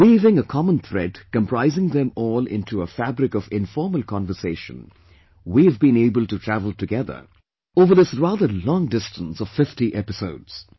Weaving a common thread comprising them all into a fabric of informal conversation, we have been able to travel together, over this rather long distance of 50 episodes